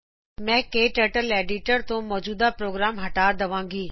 ਮੈ ਕਟਰਟਲ ਐਡੀਟਰ ਤੋ ਮੌਜੂਦਾ ਪ੍ਰੋਗਰਾਮ ਹਟਾ ਦਵਾਗੀ